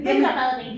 Vinterbadning